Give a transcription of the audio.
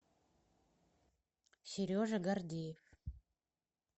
сережа гордеев